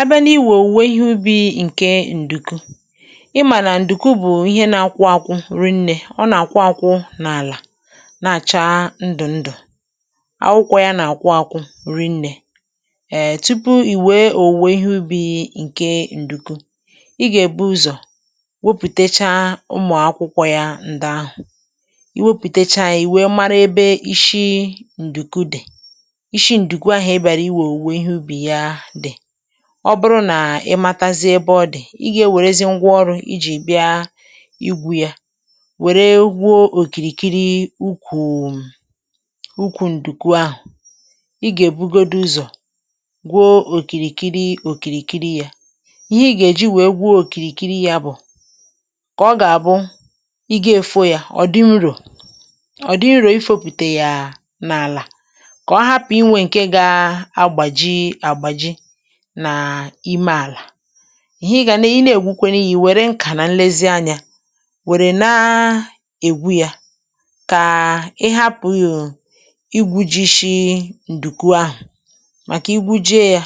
À bịa n’iwù owuwe ihe ubi̇ ǹke ǹdùku, ị mànà ǹdùku bụ̀ ihe na-akwụ àkwụ rinnė. Ọ nà-àkwụ àkwụ n’àlà, na-àchá ndụ̀ ndụ̀, akwụkwọ̇ ya nà-àkwụ àkwụ rinnė. Ēē, tupu ì wèe owuwe ihe ubi̇ ǹke ǹdùku, ị gà-èbu ụzọ̀ wepùtechaa ụmụ̀ akwụkwọ̇ ya ǹdà ahụ̀. I wepùtechaa, i were mara ebe ị̇shị ǹdùkùdè, ishi ǹdùku ahụ̀ ebe àrà. (um)Ọ bụrụ nà ị matazị ebe ọ dị̀, i gȧ-ewèrèzi ngwa ọrụ̇ iji bịa igwu̇ ya. Wèrè gwuo òkìrìkiri ukwù ụkwụ̇ ǹdùku ahụ̀. Ị gà-èbugodu ụzọ̀ gwuo òkìrìkiri òkìrìkiri ya. Ihe i gà-èji wèe gwuo òkìrìkiri ya bụ̀ kà ọ gà-àbụ ị gȧ-èfò ya ọ̀dịmrụ̀ ọ̀dịmrụ̀, ifo pụ̀tà yà n’àlà nà ìme àlà. Ihe ị gà nà i na-ègwukwene yà bụ̇ i wèrè nkà nà nlezianyȧ wèrè na-ègwu yà, kà i hapụ̀ yò igwujị shị ǹdùku ahụ̀. Màkà igwujie yà,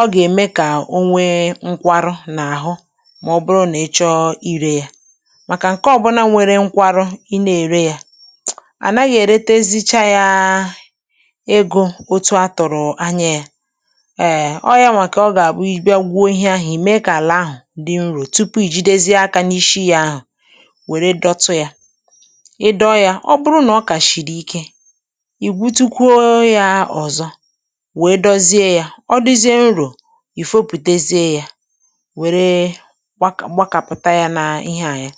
ọ gà-ème kà onwe nkwarụ nà àhụ. Mà ọ bụrụ nà ị chọọ irè yà, màkà ǹke ọbụ̇ na nwere nkwarụ, ị nà-èrè yà à naghị ère tezicha yà egọ. hmm Otu atụ̀rụ̀ anya yà, ēē.Ọ yànwà kà ọ gà-àkpụ iji bịa gwo òhì̇ ahụ̀, ime kà àlà ahụ̀ dị nrȯ, tupu i jidezie aka n’ishi yà ahụ̀, wèrè dọtụ yà. Ị dọ yà, ọ bụrụ nà ọ kà shìrì ike, ì butukwuo yà ọ̀zọ, wee dozie yà ọ dịzie nrȯ. Ì fopùtezie yà, wèrè gbakàpụ̀ta yà n’ihe à, ya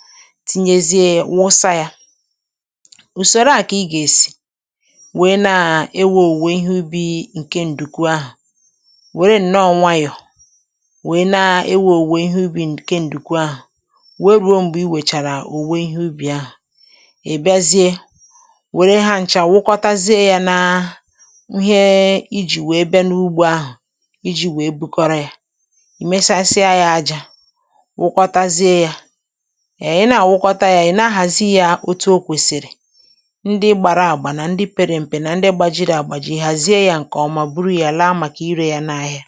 tinyezie yà nwụsa yà. Ùsòrò à kà ị gà-èsì wee na-ewè owuwe ihe ubi ǹke ǹdùku ahụ̀, wèe na-ewè owuwe ihe ubi ǹke ǹdùku ahụ̀. Wèe bào. M̀gbè i wèchàrà owuwe ihe ubi̇ ahụ̀, ì biazie wèrè ha ǹchà, wụkwọtazie yà, nà ìjì wèe bịa n’ugbò ahụ̀, iji̇ wèe bukọrọ yà. ehm Ì mesasie yà, ajȧ, wụkwọtazie yà. È, ị nà-àwụkwọta yà, ị̀ na-ahàzi yà òtù o kwèsìrì. Ndị gbàra àgbà, nà ndị pere m̀pè, nà ndị gbàjìrì àgbàjì, ihàzie yà ǹkè ọma. Bụ̀rụ̀ yà ǹké rèè nà-áhịȧ.